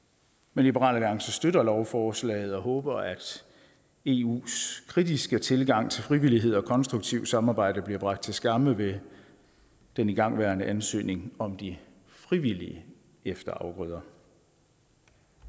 men liberal alliance støtter lovforslaget og håber at eus kritiske tilgang til frivillighed og konstruktivt samarbejde bliver gjort til skamme ved den igangværende ansøgning om de frivillige efterafgrøder